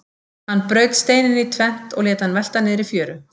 Hann braut steininn í tvennt og lét hann velta niður í fjöru.